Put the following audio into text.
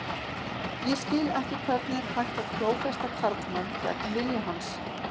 Ég skil ekki hvernig er hægt að klófesta karlmann gegn vilja hans.